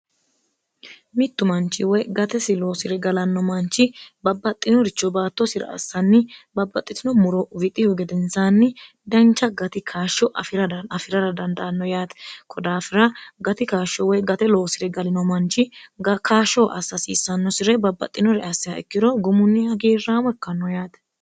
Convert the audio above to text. mittu manchi woy gatesi loosi're galanno manchi babbaxxinoricho baattoosira assanni babbaxxitino muro wixihu gedensaanni dancha gati kaashsho afi'rara dandaanno yaati kodaafira gati kaashsho woy gate loosire galino manchi kaashshoh assasiissannosire babbaxxinore assiha ikkiro gumunni hagiirraamo ikkanno yaate